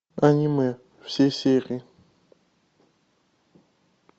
аниме все серии